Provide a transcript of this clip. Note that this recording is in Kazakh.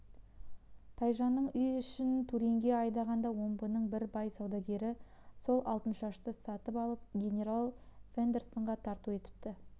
тайжанның үй-ішін туринге айдағанда омбының бір бай саудагері сол алтыншашты сатып алып генерал фондерсонға тарту етіпті